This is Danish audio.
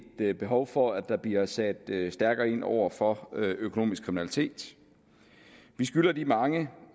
et behov for at der bliver sat stærkere ind over for økonomisk kriminalitet vi skylder de mange